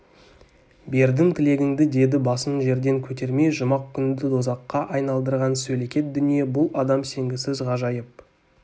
бердім тілегіңді деді басын жерден көтермей жұмақ күнді дозаққа айналдырған сөлекет дүние бұл адам сенгісіз ғажайып